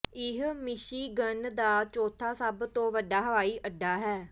ਇਹ ਮਿਸ਼ੀਗਨ ਦਾ ਚੌਥਾ ਸਭ ਤੋਂ ਵੱਡਾ ਹਵਾਈ ਅੱਡਾ ਹੈ